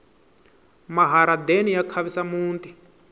maharadeni ya khavisa muti